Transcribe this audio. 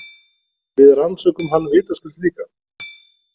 Við rannsökum hann vitaskuld líka.